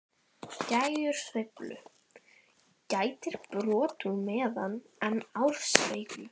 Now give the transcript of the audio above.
Dægursveiflu gætir brot úr metra en árssveiflu